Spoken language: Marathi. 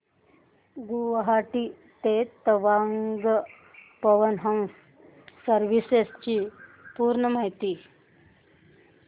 गुवाहाटी ते तवांग पवन हंस सर्विसेस ची पूर्ण माहिती